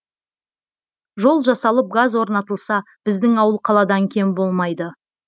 жол жасалып газ орнатылса біздің ауыл қаладан кем болмайды